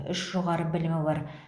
үш жоғары білімі бар